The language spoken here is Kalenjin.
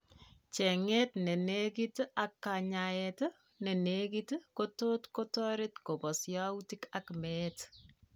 Cheng'eet nenekit ak kanyaet nenekit kotot kotoret kobos yautik ak meet